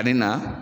Ani na